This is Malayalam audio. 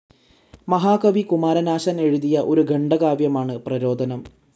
മഹാകവി കുമാരനാശാൻ എഴുതിയ ഒരു ഖണ്ഡകാവ്യമാണ് പ്രരോധനം.